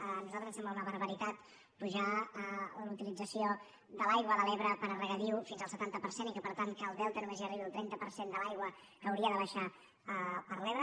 a nosaltres ens sembla una barbaritat apujar la utilització de l’aigua de l’ebre per a regadiu fins al setanta per cent i que per tant al delta només hi arribi el trenta per cent de l’aigua que hauria de baixar per l’ebre